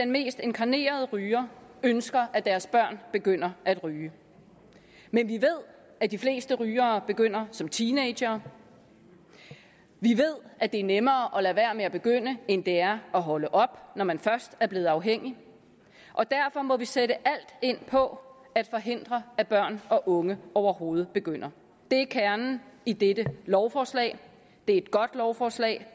mest inkarnerede rygere ønsker at deres børn begynder at ryge men vi ved at de fleste rygere begynder som teenagere vi ved at det er nemmere at lade være med at begynde end det er at holde op når man først er blevet afhængig og derfor må vi sætte alt ind på at forhindre at børn og unge overhovedet begynder det er kernen i dette lovforslag det er et godt lovforslag